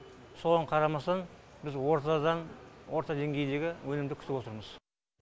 соған қарамастан біз ортадан орта деңгейдегі өнімді күтіп отырмыз